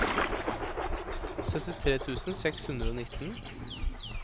syttitre tusen seks hundre og nitten